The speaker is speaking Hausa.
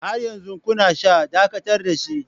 Har yanzu kuna sha, Dakatar da shi!